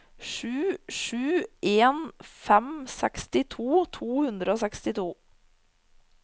sju sju en fem sekstito to hundre og sekstito